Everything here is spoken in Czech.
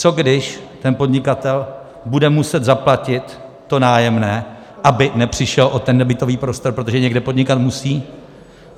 Co když ten podnikatel bude muset zaplatit to nájemné, aby nepřišel o ten nebytový prostor, protože někde podnikat musí?